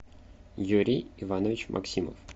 юрий иванович максимов